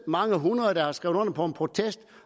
mange hundrede der har skrevet under på en protest